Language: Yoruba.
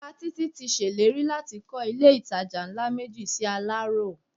Bàbá Títí ti ṣèlérí láti kọ́ ilé-ìtajà ńlá méjì sí Aláró